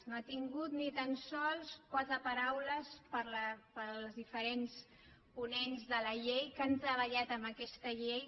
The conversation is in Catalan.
no ha tingut ni tan sols quatre paraules pels diferents ponents de la llei que han treballat en aquesta llei